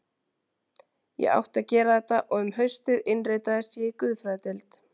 Ég átti að gera þetta og um haustið innritaðist ég í guðfræðideild